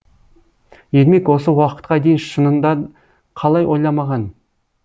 ермек осы уақытқа дейін шынында қалай ойламаған